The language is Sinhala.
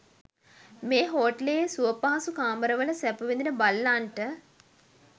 මේ හෝටලයේ සුවපහසු කාමරවල සැප විඳින බල්ලන්ට